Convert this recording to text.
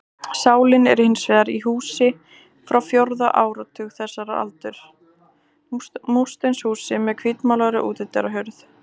Sálin er hins vegar í húsi frá fjórða áratug þessarar aldar, múrsteinshúsi með hvítmálaðri útidyrahurð.